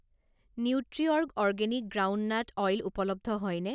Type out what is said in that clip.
Nutriorg organic groundnut oil উপলব্ধ হয়নে?